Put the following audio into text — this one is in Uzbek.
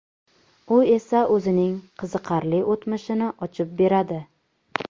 U esa o‘zining qiziqarli o‘tmishini ochib beradi.